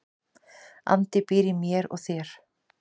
Andi býr í mér og þér.